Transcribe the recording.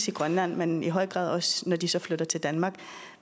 i grønland men i høj grad også når de så flytter til danmark